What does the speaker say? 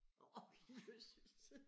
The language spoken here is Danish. Ok jøsses!